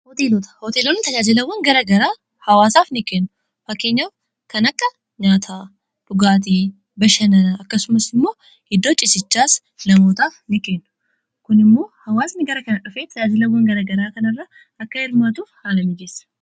hooteeloonni tajaajilawwan garaagaraa hawaasaaf ni kennu. fakkeenyaf kan akka nyaataa dhugaatii bashananaa akkasumas immoo iddoo cisichaas namoota ni kennu. kun immoo hawaasni gara kana dhufee tajaajilawwan garagaraa kanarra akka hirmaatuuf haala mijeessa.